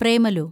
Premalu